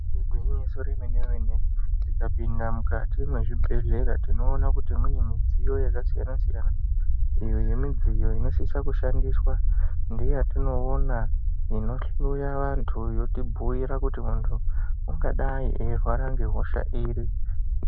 Igwinyiso remene-mene tikapinda mukati mezvibhedhlera tinoona kuti mune mudziyo yakasiyana siyana iyo nemidziyo inosisa kushandiswa ngeyatinoona inohloya vantu yotibhuyira kuti muntu angadai eyirwa ngehosha iri.